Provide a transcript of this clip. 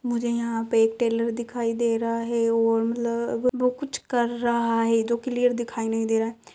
मुझे यहाॅं पे एक टेलर दिखाई दे रहा है और वो कुछ कर रहा है जो क्लियर दिखाई नही दे रहा है।